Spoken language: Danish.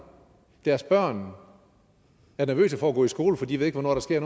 deres børn er nervøse for at gå i skole for de ved ikke hvornår der sker